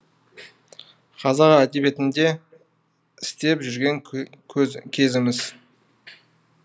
қазақ әдебиетінде істеп жүрген кезіміз